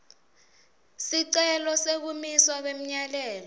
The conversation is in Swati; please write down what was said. sicelo sekumiswa kwemyalelo